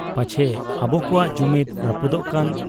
ᱯᱟᱪᱷᱮ ᱟᱵᱚ ᱠᱚᱣᱟᱜ ᱡᱩᱢᱤᱫᱽ ᱨᱟᱹᱯᱩᱫᱚᱜ ᱠᱟᱱ ?